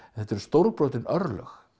þetta eru stórbrotin örlög